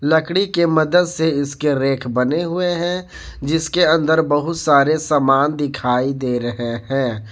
लकड़ी के मदद से इसके रेख बने हुए हैं जिसके अंदर बहुत सारे सामान दिखाई दे रहे हैं।